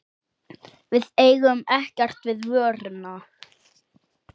Við eigum ekkert við vöruna.